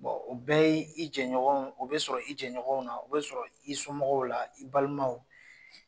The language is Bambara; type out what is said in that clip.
o bɛɛ y'i jɛɲɔgɔnw o bɛ sɔrɔ i jɛɲɔgɔnw na o bɛ sɔrɔ i somɔgɔw la i balimaw.